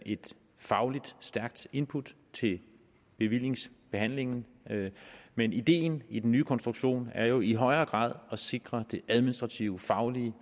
et fagligt stærkt input til bevillingsbehandlingen men ideen i den nye konstruktion er jo i højere grad at sikre det administrativt faglige